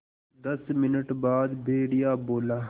दस मिनट बाद भेड़िया बोला